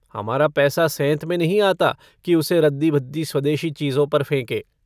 हमारा पैसा सेंत में नहीं आता कि उसे रद्दी-भद्दी स्वदेशी चीज़ों पर फेंकें।